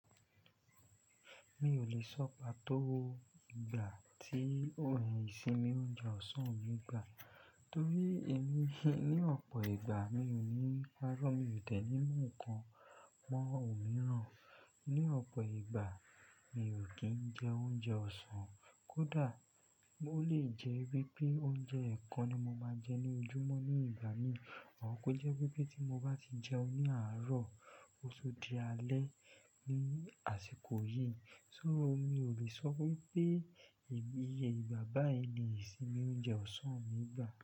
Mi ò lè sọ pàtó ìgbà tí isinmi ounjẹ ọ̀sán mi gbà, torí èmi ní ọ̀pọ̀ ìgbà mi ò ní pàárọ̀, mi ò deni mu nnkan mọ́ òmíràn. Ní ọ̀pọ̀ ìgbà mi ò kí ń jẹ oúnjẹ ọ̀sán, kódà ó lè jẹ́ wípé oúnjẹ ekan ni mo máa jẹ ní ojúmọ́ ní ìgbà míì, or kó jẹ́ wípé tí mo bá ti jẹun ní àárọ̀, ó tún di alẹ́ ní àsìkò yìí. Só mi ò lè sọ wípé ìgbà báyii ni ìsì mi ounjẹ ọ̀sán mi gbà.